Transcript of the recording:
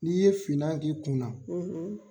N'i ye finan k'i kun na.